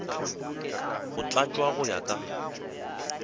go tlatšwa go ya ka